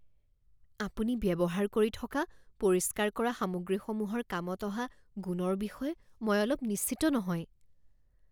আপুনি ব্যৱহাৰ কৰি থকা পৰিষ্কাৰ কৰা সামগ্ৰীসমূহৰ কামত অহা গুণৰ বিষয়ে মই অলপ নিশ্চিত নহয়।